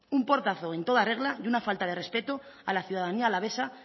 un portazo en toda regla y una falta de respeto a la ciudadanía alavesa